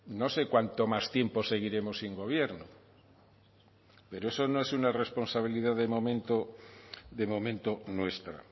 no sé cuánto más tiempo seguiremos sin gobierno pero eso no es una responsabilidad de momento de momento nuestra